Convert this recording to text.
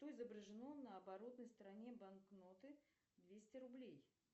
что изображено на оборотной стороне банкноты двести рублей